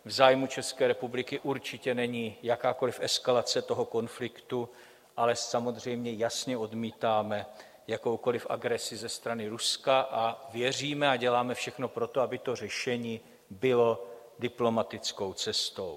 V zájmu České republiky určitě není jakákoli eskalace toho konfliktu, ale samozřejmě jasně odmítáme jakoukoli agresi ze strany Ruska, a věříme a děláme všechno proto, aby to řešení bylo diplomatickou cestou.